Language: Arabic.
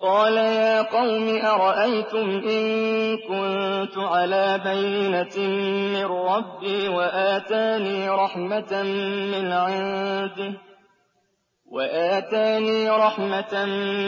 قَالَ يَا قَوْمِ أَرَأَيْتُمْ إِن كُنتُ عَلَىٰ بَيِّنَةٍ مِّن رَّبِّي وَآتَانِي رَحْمَةً